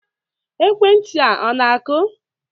Ekwentị a na-akụ?